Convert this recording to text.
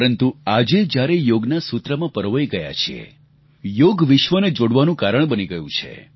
પરંતુ આજે જ્યારે યોગસૂત્રમાં પરોવાઈ ગયા છીએ યોગ વિશ્વને જોડવાનું કારણ બની ગયું છે